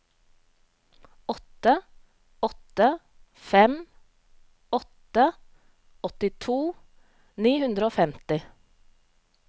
åtte åtte fem åtte åttito ni hundre og femti